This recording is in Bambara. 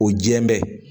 O diɲɛ bɛ